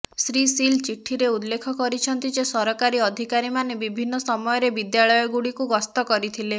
ଶ୍ରୀ ସିଲ୍ ଚିଠିରେ ଉଲ୍ଲେଖ କରିଛନ୍ତି ଯେ ସରକାରୀ ଅଧିକାରୀମାନେ ବିଭିନ୍ନ ସମୟରେ ବିଦ୍ୟାଳୟଗୁଡ଼ିକୁ ଗସ୍ତ କରିଥିଲେ